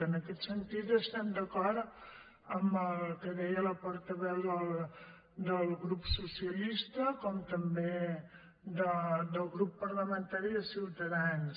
en aquest sentit estem d’acord amb el que deia la por·taveu del grup socialista com també del grup par·lamentari de ciutadans